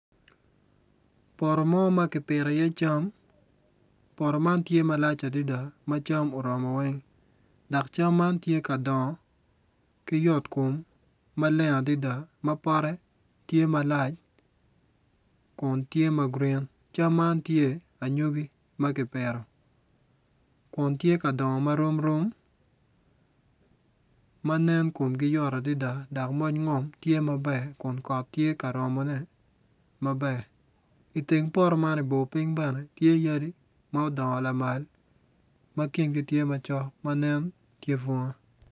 Poto mo ma kipito iye cam poto man tye malac adida ma cam oromo weny dak cam man tye ka dongo ki yot kom maleng adida ma pote tye malac gun tye ma gurin cam man tye anyogi ma kipito kun tye ka dongo ma rom rom ma nen kumgi yot adida dok moc ngom tye maber kun kot tye ka romone maber iteng poto man ibor piny bene tye yadi ma odongo lamal ma kingi tye macok ma nen ki bunga